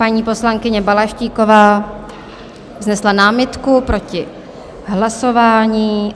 Paní poslankyně Balaštíková vznesla námitku proti hlasování.